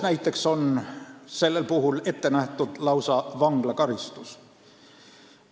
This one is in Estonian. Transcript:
Näiteks Soomes on sellel puhul lausa vanglakaristus ette nähtud.